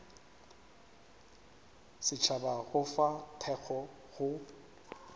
setšhaba go fa thekgo go